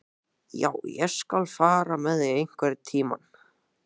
Já, ég skal fara með þig einhvern tíma.